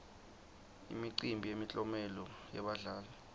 imicimbi yemiklomelo yebadlali